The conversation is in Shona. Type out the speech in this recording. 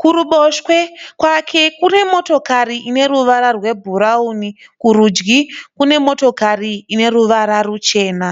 Kuruboshwe kwake kune motokari ine ruvara rwebhurauni, kurudyi kune motokari ine ruvara ruchena.